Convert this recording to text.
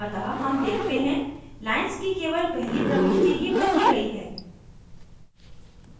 अतः हम देखते हैं lines की केवल पहली प्रविष्टि ही बदली गयी है